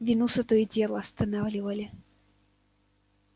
венуса то и дело останавливали